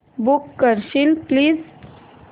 book करशील please